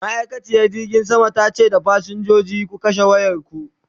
ma'aikaciyar jirgin saman tace da fasinjoji "ku kashe wayarku!"